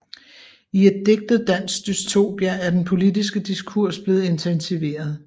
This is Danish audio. I et digtet dansk dystopia er den politiske diskurs blevet intensiveret